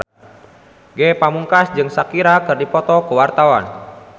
Ge Pamungkas jeung Shakira keur dipoto ku wartawan